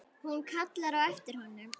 Hún kallar á eftir honum.